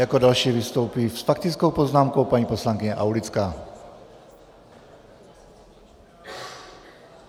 Jako další vystoupí s faktickou poznámkou paní poslankyně Aulická.